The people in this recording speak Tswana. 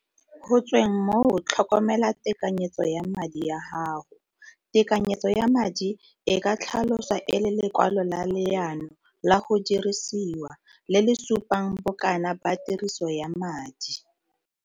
Go tsweng moo tlhokomela tekanyetso ya madi ya gago. Tekanyetso ya madi e ka tlhaloswa e le lekwalo la leano la go dirisiwa, le le supang bokana ba tiriso ya madi.